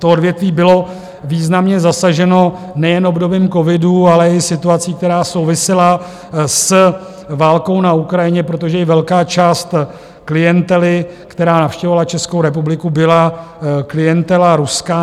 To odvětví bylo významně zasaženo nejen obdobím covidu, ale i situací, která souvisela s válkou na Ukrajině, protože i velká část klientely, která navštěvovala Českou republiku, byla klientela ruská.